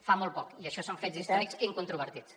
fa molt poc i això són fets històrics incontrovertits